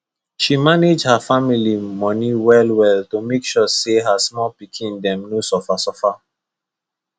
she manage her family money wellwell to make sure say her small pikin dem no suffer suffer